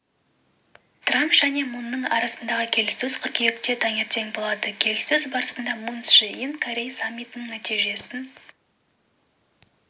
трамп және мунның арасындағы келіссөз қыркүйекте таңертең болады келіссөз барысында мун чже ин корей саммитінің нәтижесін